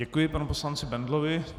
Děkuji panu poslanci Bendlovi.